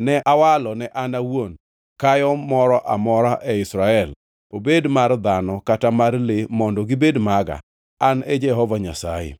ne awalo ne an awuon kayo moro amora e Israel, obed mar dhano kata mar le mondo gibed maga. An e Jehova Nyasaye.”